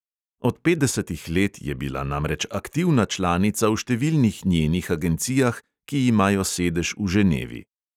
Od petdesetih let je bila namreč aktivna članica v številnih njenih agencijah, ki imajo sedež v ženevi.